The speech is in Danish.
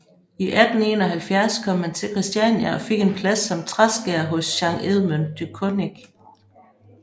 I 1871 kom han til Kristiania og fik en plads som træskærer hos Jean Edmond de Conick